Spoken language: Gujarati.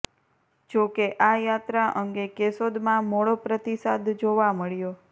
જો કે આ યાત્રા અંગે કેશોદમાં મોળો પ્રતિસાદ જોવા મળ્યો